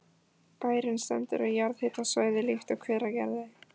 Bærinn stendur á jarðhitasvæði líkt og Hveragerði.